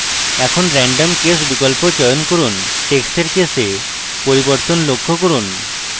এখন random case বিকল্প চয়ন করুন টেক্সটের case পরিবর্তন লক্ষ্য করুন